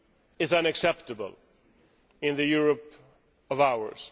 is unacceptable in this Europe of ours.